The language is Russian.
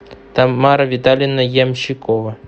тамара витальевна ямщикова